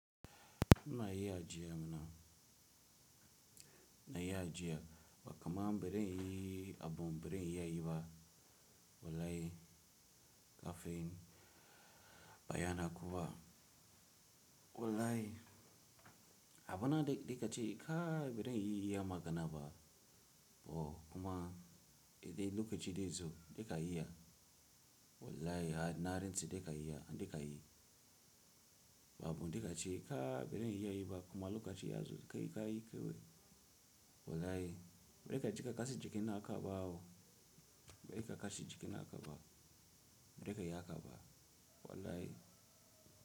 Na yi ajiya mana, na yi ajiya kuma bari in yi abu bari in yi ba wallahi kafin baya na kuwa wallahi. Abu na dai ka ci ka bari in yi iya magana ba, oh kuma idan lokaci dai zo dai ka yi ya wallahi na rantse dai ka yi ya dai ka yi. Babu dai ka ci ka bazan iya yi ba kuma lokaci ya zo kai ka yi kawai wallahi. Bari ka ci ka kashi jiki na ka bawo, bari ka kashi jiki na ka ba bari ka yi haka ba wallahi.